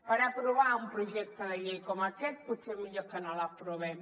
per aprovar un projecte de llei com aquest potser millor que no l’aprovem